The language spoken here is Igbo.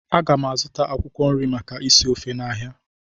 A ga m azụta akwụkwọ nri maka isi ofe n'ahịa